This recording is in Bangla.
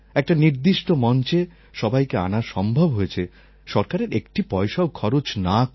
একটা নির্দিষ্ট মঞ্চে সবাইকে আনা সম্ভব হয়েছে সরকারের একটি পয়সাও খরচ না করে